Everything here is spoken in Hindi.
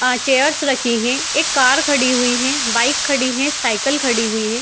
अ चेयरस रखी हैं | एक कार खड़ी हुई हैं बाइक खड़ी हैं साइकिल खड़ी हुई हैं |